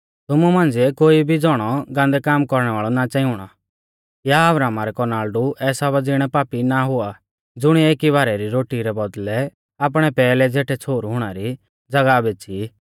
तुमु मांझ़िऐ कोई भी ज़ौणौ गान्दै काम कौरणै वाल़ौ ना च़ांई हुणौ या अब्राहमा रै कौनाल़डु एसावा ज़िणै पापी ना हुआ ज़ुणिऐ एकी बारै री रोटी रै बौदल़ै आपणै पेहलै ज़ेठै छ़ोहरु हुणा री ज़ागाह बेच़ी